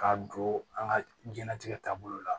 K'a don an ka jiyɛnlatigɛ taabolo la